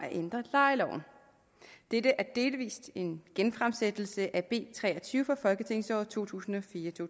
at ændre lejeloven det er delvis en genfremsættelse af b tre og tyve fra folketingsåret to tusind og fire til